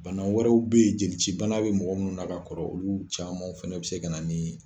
Bana wɛrɛw be ye jeli ci bana be mɔgɔ minnu na ka kɔrɔ olu caman fɛnɛ be se ka na ni